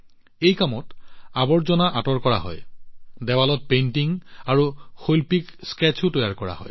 এই কামত আৱৰ্জনা আঁতৰোৱা হয় দেৱালত পেইণ্টিং আৰু শৈল্পিক স্কেটচো তৈয়াৰ কৰা হয়